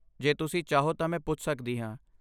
ਜੇ ਤੁਸੀਂ ਚਾਹੋ ਤਾਂ ਮੈਂ ਪੁੱਛ ਸਕਦੀ ਹਾਂ।